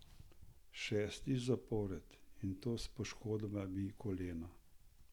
Šestič zapored, in to s poškodovanim kolenom.